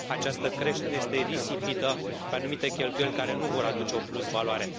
Această creștere este risipită pe anumite cheltuieli care nu vor aduce o plusvaloare.